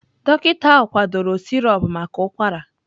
Dọkịta ahụ kwadoro sirop maka ụkwara.